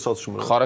Xarakter çatışmır.